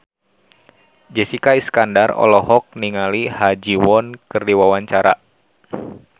Jessica Iskandar olohok ningali Ha Ji Won keur diwawancara